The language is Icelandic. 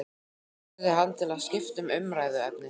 spurði hann til að skipta um umræðuefni.